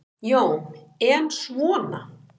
Jón: En svona.